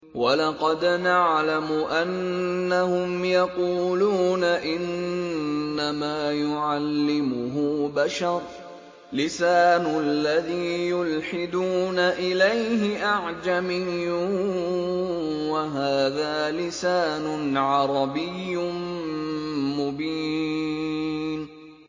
وَلَقَدْ نَعْلَمُ أَنَّهُمْ يَقُولُونَ إِنَّمَا يُعَلِّمُهُ بَشَرٌ ۗ لِّسَانُ الَّذِي يُلْحِدُونَ إِلَيْهِ أَعْجَمِيٌّ وَهَٰذَا لِسَانٌ عَرَبِيٌّ مُّبِينٌ